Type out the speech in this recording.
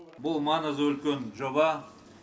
бұл маңызы үлкен жоба